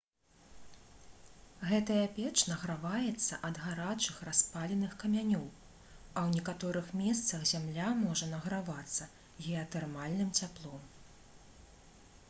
гэтая печ награваецца ад гарачых распаленых камянёў а ў некаторых месцах зямля можа награвацца геатэрмальным цяплом